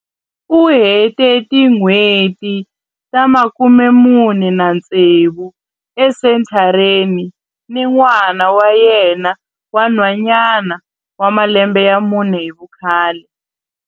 U hete tin'hweti ta 46 esenthareni ni n'wana wa yena wa nhwanyana wa malembe ya mune hi vukhale.